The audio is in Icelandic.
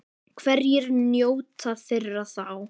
Hverjir njóta þeirra þá?